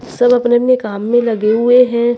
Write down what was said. सब अपने अपने काम में लगे हुए हैं।